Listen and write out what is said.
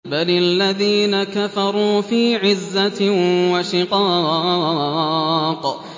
بَلِ الَّذِينَ كَفَرُوا فِي عِزَّةٍ وَشِقَاقٍ